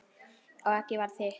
Og eggið var þitt!